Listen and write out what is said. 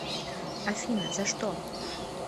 афина за что